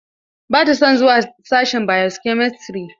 Ba ta son zuwa sashin bio-chemistry.